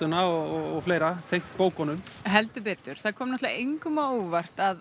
metsölulistana og fleira tengt bókunum heldur betur það kom engum á óvart að